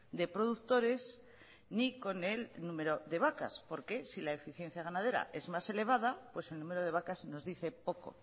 de productores ni con el número de vacas porque si la eficiencia ganadera es más elevada pues el número de vacas nos dice poco